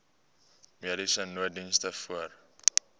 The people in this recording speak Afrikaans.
mediese nooddiens voor